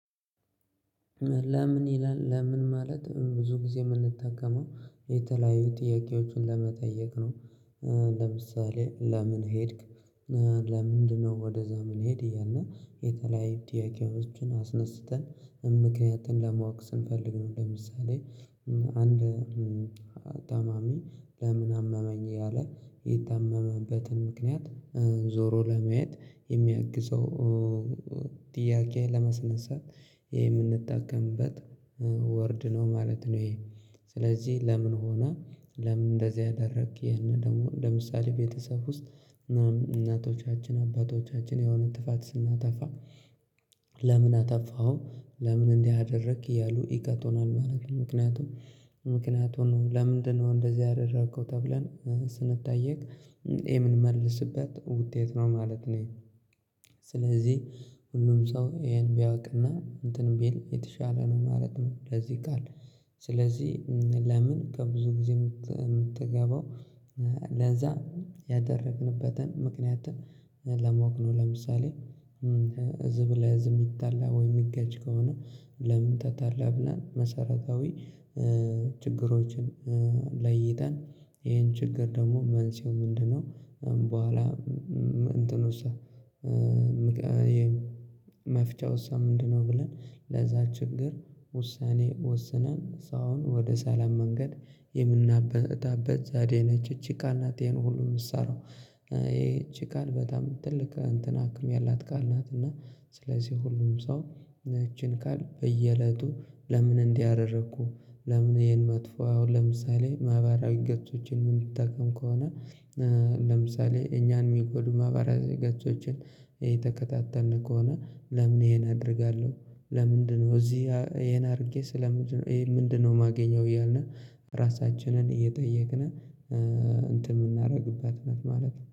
ለምን ይላል ለምን ማለት ብዙ ጊዜ የምንጠቀመው የተለያዩ ጥያቄዎችን ለመጠየቅ ነው ለምሳሌ ለምን ሄድክ? ለምንድነው ወደዛ ምንሄድ እያልነ የተለያዩ ጥያቄዎችን አስነስተን ምክንያትን ለማወቅ ስንፈልግ ነው ለምሳሌ ታማሚ ለምን አመመኝ እያለ የታመመበትን ምክንያት ዞሮ ለማየት የሚያግዘው ጥያቄ ለማስነሳት የምንጠቀምበት ወርድ ነው ማለት ነው። ይሄ ስለዚህ ለምን ሆና ለምን እንደዚህ አደረግክ? ይሄንን ደግሞ ለምሳሌ ቤተሰብ ውስጥ እናቶቻችን አባቶቻችን የሆነ ጥፋት ስናጠፋ ለምን አጠፋሀው ለምን እንዲህ አደረክ እያሉ ይቀለናል ማለት ነው። ምክንያቱም ምክንያቱ ነው ለምንድነው እንደዚህ ያደረከው? ተብለን ስንጠይቅ የምንመልስበት ውጤት ነው ማለት ነው። ስለዚህ ሁሉም ሰው ይሄን ቢያውቅ እና እንትን ቢል የተሻለ ነው ማለት ነው። ከዚህ ቃል ስለዚህ ለምን ከብዙ ጊዜ የምትገባው ለዛ ያደረግንበትን ምክንያት ለመውቅሉ ለምሳሌ እዚህ ላይ ህዝብ የሚታላ ወይ የሚገጭ ከሆነ ለምን ተጣራ ብላ መሰረታዊ ችግሮችን ለይተን ይሄን ችግር ደግሞ መንስኤው ምንድነው? በኋላ እንትን ውስጥ መፍቻ ውስጥ ምንድነው? ብለን ለዛ ችግር ውሳኔ ወስነን ሳይሆን ወደ ሰላም መንገድ የምናበታበት ዛሬ ነች እቺ ቃል ናት። ይሄን ሁሉ የምትሰራው ይሄ እቺ ቃል በጣም ትልቅ እንትን ሀክም ያላት ቃል ናት። እና ስለዚህ ሁሉም ሰው እቺን ቃል በየእለቱ ለምን እንዲህ አደረኩ ለምን ይሄን መጥፎ አሁን ለምሳሌ ማህበራዊ ገጾችን የምንጠቀም ከሆነ ለምሳሌ እኛን የሚጎዱ ማህበራዊ ገጾችን እየተከታተልን ከሆነ ለምን ይሄን አደርጋለሁ? ለምንድነው እዚህ ይሄን አድርጌ ስለምንድነው ይሄ ምንድነው ማገኘው? እያልን ራሳችንን እየጠየቅን እንትን የምናደርግበት እለት ማለት ነው